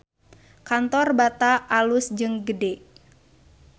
Kantor Bata alus jeung gede